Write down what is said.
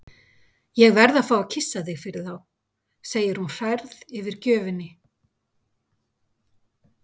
Ég verð að fá að kyssa þig fyrir þá, segir hún hrærð yfir gjöfinni.